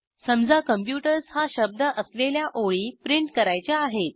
समजा कॉम्प्युटर्स हा शब्द असलेल्या ओळी प्रिंट करायच्या आहेत